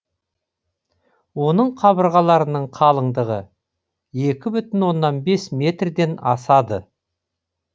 оның қабырғаларының қалыңдығы екі бүтін оннан бес метрден асады